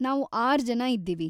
ನಾವು ಆರ್ಜನ ಇದ್ದೀವಿ.